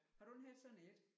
Har du ikke haft sådan et?